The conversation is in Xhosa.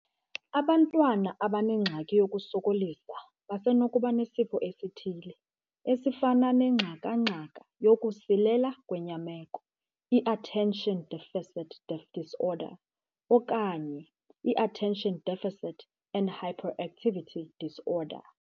Abantwana abanengxaki yokusokolisa basenokuba nesifo esithile, esifana nengxaka-ngxaka yokusilela kwenyameko, i-Attention Deficit Disorder, okanye i-Attention Deficit and Hyperactivity Disorder.